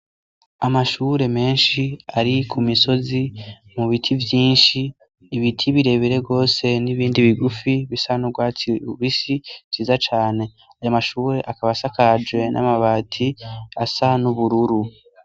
Amashure menshi ari ku misozi mu biti vyinshi ibiti birebere rwose n'ibindi bigufi bisan'urwatsi ubisi ziza cane aya amashure akabasakaje n'amabati asa n'ubururu.